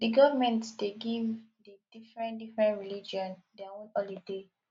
di government dey give di diferen diferen religion their own holiday